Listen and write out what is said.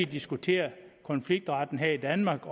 diskutere konfliktretten her i danmark